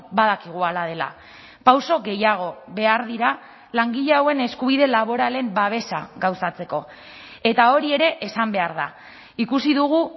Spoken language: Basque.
badakigu hala dela pauso gehiago behar dira langile hauen eskubide laboralen babesa gauzatzeko eta hori ere esan behar da ikusi dugu